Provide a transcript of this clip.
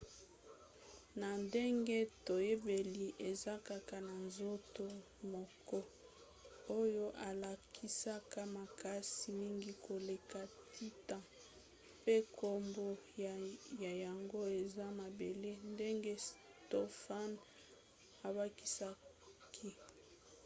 na ndenge toyebeli eza kaka na nzoto moko oyo elakisaka makasi mingi koleka titan pe nkombo na yango eza mabele, ndenge stofan abakisaki